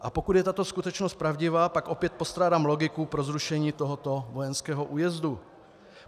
A pokud je tato skutečnost pravdivá, pak opět postrádám logiku pro zrušení tohoto vojenského újezdu.